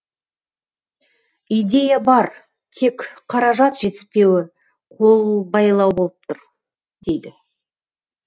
идея бар тек қаражат жетіспеуі қолбайлау болып тұр дейді